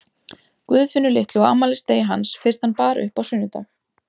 Guðfinnu litlu á afmælisdegi hans fyrst hann bar upp á sunnudag.